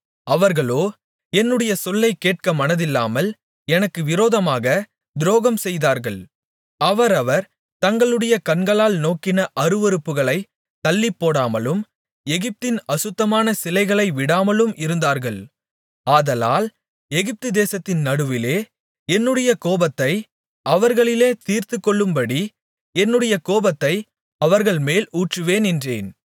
அவர்களோ என்னுடைய சொல்லைக் கேட்கமனதில்லாமல் எனக்கு விரோதமாக துரோகம்செய்தார்கள் அவரவர் தங்களுடைய கண்களால் நோக்கின அருவருப்புகளைத் தள்ளிப்போடாமலும் எகிப்தின் அசுத்தமான சிலைகளை விடாமலும் இருந்தார்கள் ஆதலால் எகிப்துதேசத்தின் நடுவிலே என்னுடைய கோபத்தை அவர்களிலே தீர்த்துக்கொள்ளும்படி என்னுடைய கோபத்தை அவர்கள்மேல் ஊற்றுவேன் என்றேன்